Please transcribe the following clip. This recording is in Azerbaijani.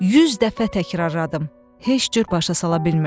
100 dəfə təkrarladım, heç cür başa sala bilmirdim.